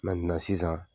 sisan